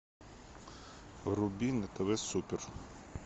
вруби на тв супер